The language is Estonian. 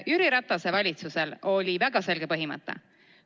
Jüri Ratase valitsusel oli väga selge põhimõte.